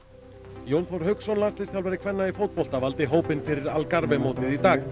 Jón Þór Hauksson landsliðsþjálfari kvenna í fótbolta valdi hópinn fyrir Algarve mótið í dag